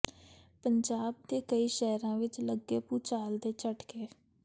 ਪੰਜਾਬ ਦੇ ਕਈ ਸ਼ਹਿਰਾਂ ਵਿੱਚ ਲੱਗੇ ਭੂਚਾਲ ਦੇ ਝਟਕੇ